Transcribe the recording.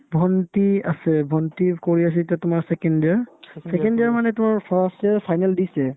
ভণ্টি আছে ভন্টি কৰি আছে এতিয়া তোমাৰ second year second year মানে তোমাৰ first year final দিছে